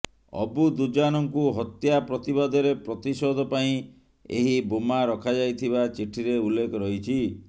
ଅବୁ ଦୁଜାନଙ୍କୁ ହତ୍ୟା ପ୍ରତିବାଦରେ ପ୍ରତିଶୋଧ ପାଇଁ ଏହି ବୋମା ରଖାଯାଇଥିବା ଚିଠିରେ ଉଲ୍ଲେଖ ରହିଛି